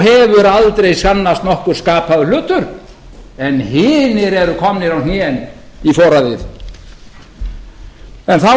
hefur aldrei sannast nokkur skapaður hlutur en hinir eru komnir á hnén í foraðið þá að öðrum